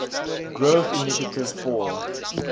growth initiative for